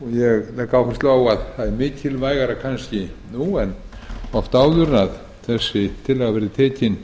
ég legg áherslu á að það er kannski mikilvægara nú en oft áður að þessi tillaga verði tekin